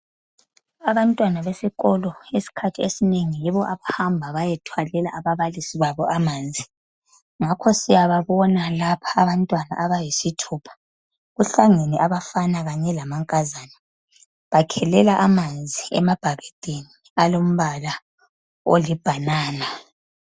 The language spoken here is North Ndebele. Abantwana besikolo isikhathi esinengi yibo abahamba bayethwalela ababalisi babo amanzi ngakho siyababona lapha abantwana abayisithupha. Kuhlangene abangabafana labangamankazana bakhelela amanzi emabhakedeni alombala olibanana.